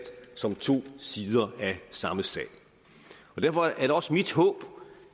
som to sider af samme sag derfor er det også mit håb